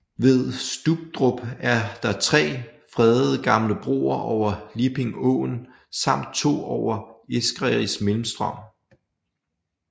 Ved Stubdrup er der tre fredede gamle broer over Lipping Åen samt to over Eskeris Møllestrøm